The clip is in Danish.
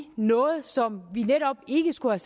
noget som vi netop ikke skulle